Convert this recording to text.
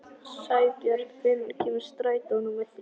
Sæbjörn, hvenær kemur strætó númer þrjú?